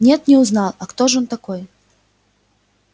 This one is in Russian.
нет не узнал а кто ж он такой